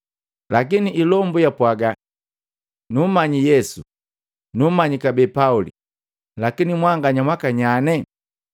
Lakini ilombu yapwaga, “Nummanyi Yesu, na nummanyi kabee Pauli lakini mwanganya mwakanyanye?”